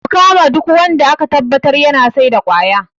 Ku kama duk wanda aka tabbatar yana saida kwaya